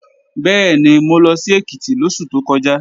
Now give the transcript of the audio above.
Bẹ́ẹ̀ni, mo lọ sí Èkìtì lóṣù tó kọjá